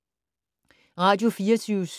Radio24syv